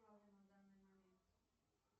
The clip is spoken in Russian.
на данный момент